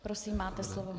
Prosím, máte slovo.